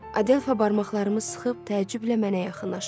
Adelfa barmaqlarımı sıxıb təəccüblə mənə yaxınlaşır.